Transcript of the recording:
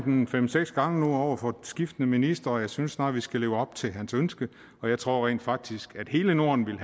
nævnt fem seks gange over for skiftende ministre og jeg synes snart at vi skal leve op til hans ønske og jeg tror rent faktisk at hele norden ville